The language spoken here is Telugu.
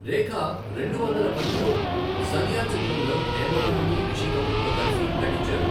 రేఖా రెండువందల పదిలో సదియా చిత్రంలో హేమమాలిని, రిషి కపూర్తో కలిసి నటించారు.